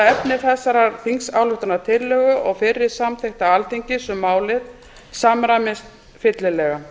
efni þessarar þingsályktunartillögu og fyrri samþykkta alþingis um málið samræmast fyllilega